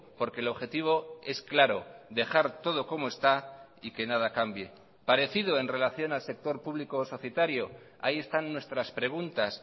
porque el objetivo es claro dejar todo como está y que nada cambie parecido en relación al sector público societario ahí están nuestras preguntas